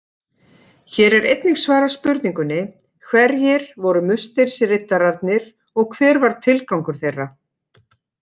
Hér er einnig svarað spurningunni: Hverjir voru musterisriddararnir og hver var tilgangur þeirra?